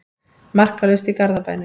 Markalaust í Garðabænum